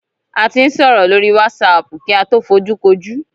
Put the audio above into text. A ti ń sọ̀rọ̀ lórí wásaàpù kí a tó fojúkojú.